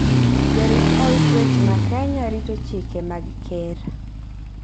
Jorit od twech ma Kenya rito chike mag ker.